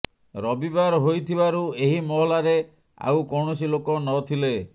ରବିବାର ହୋଇଥିବାରୁ ଏହି ମହଲାରେ ଆଉ କୌଣସି ଲୋକ ନଥିଲେ